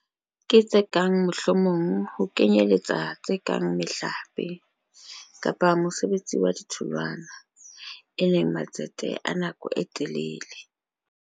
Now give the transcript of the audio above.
Ke tse kang mohlomong ho kenyeletsa tse kang mehlape, kapa mosebetsi wa ditholwana, e leng matsete a nako e telele.